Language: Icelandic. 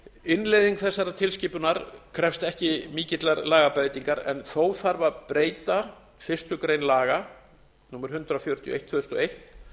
innleiðing þessarar tilskipunar krefst ekki mikillar lagabreytingar en þó þarf að breyta fyrstu grein laga númer hundrað fjörutíu og eitt tvö þúsund og eitt